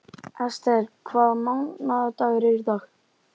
Esther, hvaða mánaðardagur er í dag?